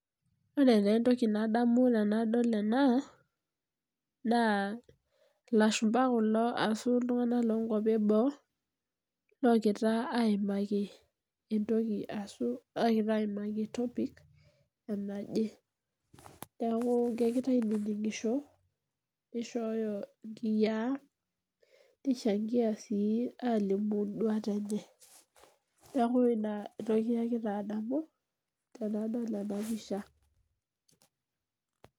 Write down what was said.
Ore taa entoki nadamu tenadol ena naa ilashumba kulo ashu iltunganak lonkwapi eboo logira aimaki entoki ashu logira aimaki entopic naje neku kegira ainininsho nishoyo nkiyaa nishangia sii nduat enye , niaku inatoki agira adamu tenadol enapisha.